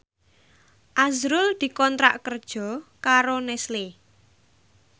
azrul dikontrak kerja karo Nestle